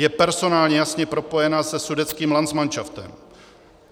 Je personálně jasně propojena se sudetským landsmanšaftem.